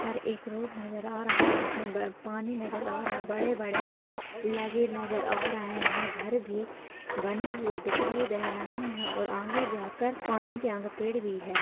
यहाँ पर एक रोड नजर आ रहा है जिसमे पानी नजर आ रहा है बड़े-बड़े पेड़ लगे नजर आ रहे हैं घर भी बने हुए दिखाई दे रहे हैं और आगे जाकर पानी के आगे पेड़ भी हैं ।